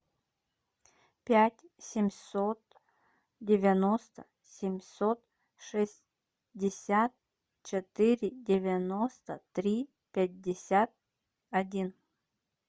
пять семьсот девяносто семьсот шестьдесят четыре девяносто три пятьдесят один